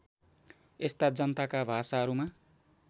यस्ता जनताका भाषाहरूमा